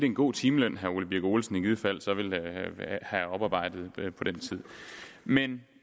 en god timeløn herre ole birk olesen i givet fald så ville have oparbejdet på den tid men